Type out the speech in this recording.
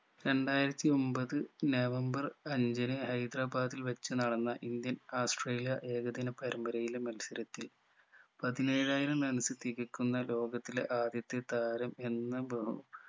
രണ്ടായിരത്തി ഒമ്പത് നവംബർ അഞ്ചിന് ഹൈദരാബാദിൽ വെച്ച് നടന്ന indian ഓസ്ട്രേലിയ ഏകദിന പരമ്പരയിലെ മത്സരത്തിൽ പതിനേഴായിരം runs തികക്കുന്ന ലോകത്തിലെ ആദ്യത്തെ താരം എന്ന ബഹു